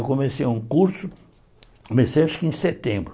Eu comecei um curso, comecei acho que em setembro.